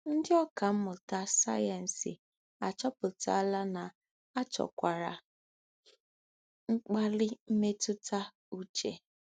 Ndị ọkà mmụta sayensị achọpụtala na a chọkwara mkpali mmetụta uche.